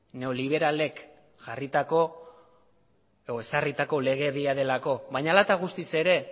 neoliberalek jarritako edo ezarritako legedia delako baina hala eta guztiz ere